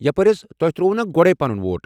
یپٲرۍ حض ، تۄہہ ترٛووٗو نا گۄڈے پنُن ووٹ؟